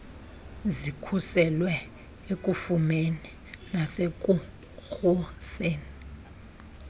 zikhuselwe ekufumeni nasekuruseni